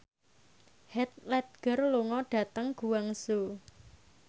Heath Ledger lunga dhateng Guangzhou